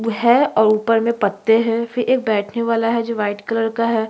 है और ऊपर में पत्ते हैं फिर एक बैठने वाला है जो वाइट कलर का है |--